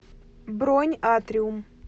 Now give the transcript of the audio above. бронь атриум